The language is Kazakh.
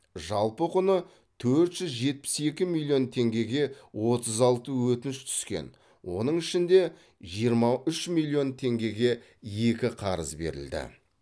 жалпы құны төрт жүз жетпіс екі миллион теңгеге отыз алты өтініш түскен оның ішінде жиырма үш миллион теңгеге екі қарыз берілді